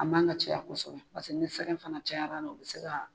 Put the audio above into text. A man ka caya kosɛbɛ paseke ni sɛgɛ fana cayara la o bɛ se ka